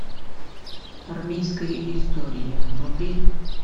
армейская история вруби